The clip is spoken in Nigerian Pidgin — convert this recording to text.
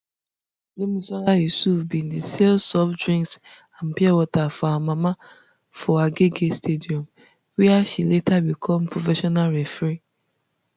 gbemisola yusuf bin dey sell soft drinks and pure water for her mama for agege stadium wia she later become professional referee